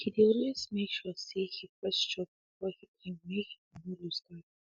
he dey always make sure say he first chop before he drink make he for no loose guard